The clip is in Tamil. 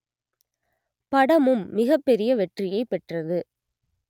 படமும் மிகப்பெரிய வெற்றியை பெற்றது